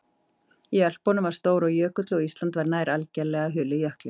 Í Ölpunum var og stór jökull og Ísland var nær algerlega hulið jökli.